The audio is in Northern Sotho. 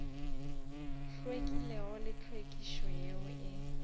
hlwekilego le tlhwekišo yeo e